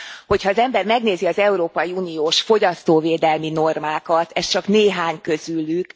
Hogyha az ember megnézi az európai uniós fogyasztóvédelmi normákat, ez csak néhány közülük.